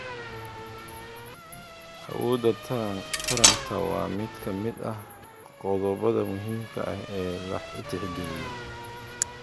Awoodda taranta waa mid ka mid ah qodobbada muhiimka ah ee la tixgeliyo.